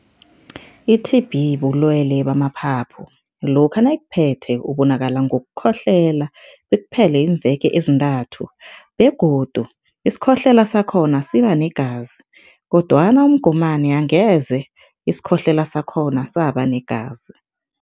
I-T_B bulwele bamaphaphu. Lokha nayikuphethe, ubonakala ngokukhohlela, bekuphele iimveke ezintathu begodu isikhohlela sakhona siba negazi kodwana umgomani angeze isikhohlela sakhona saba negazi.